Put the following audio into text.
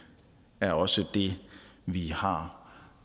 er også det vi har